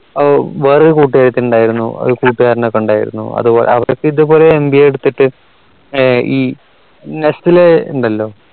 ഓ വേറെ ഒരു കൂട്ടുകാരത്തി ഇണ്ടായിരുന്നു ഒരു കൂട്ടുകാരനോക്കെ ഉണ്ടായിരുന്നു അതുപോലെ അവർരൊക്കെ ഇതുപോലെ MBA എടുത്തിട്ട് nestle ഉണ്ടല്ലോ